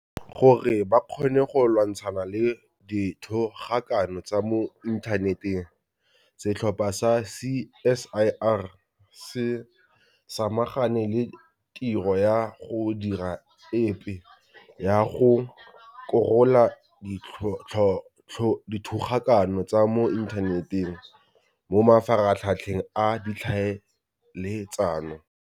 Gore ba kgone go lwantshana le dithogakano tsa mo inthaneteng, setlhopha sa CSIR se samagane le tiro ya go dira epe ya go korola dithogakano tsa mo inthaneteng mo mafaratlhatlheng a ditlhaeletsano.